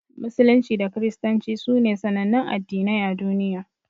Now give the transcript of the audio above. Musulunci da Kiristanci sune sanannun Addinai a duniya.